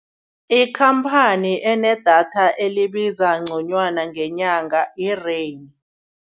Ikhamphani enedatha elibiza nconywana ngenyanga yi-Rain.